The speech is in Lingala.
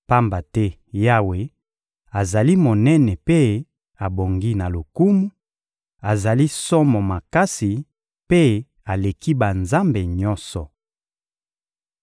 Pamba te Yawe azali monene mpe abongi na lokumu, azali somo makasi mpe aleki banzambe nyonso.